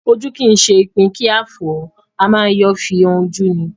Ojú kì í ṣe ipin kí a fọ́ ọ, a má yọ́ fi han ojú ni